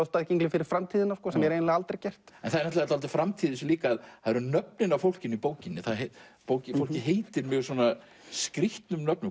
staðgenglar fyrir framtíðina sem er eiginlega aldrei gert en það er dálítil framtíð í þessu líka það eru nöfnin á fólkinu í bókinni bókinni fólkið heitir mjög skrýtnum nöfnum